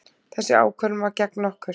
Þessi ákvörðun var gegn okkur.